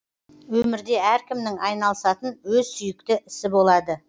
өмірде әркімнің айналысатын өз сүйікті ісі болады